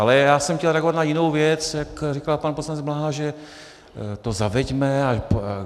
Ale já jsem chtěl reagovat na jinou věc, jak říkal pan poslanec Bláha, že to zaveďme.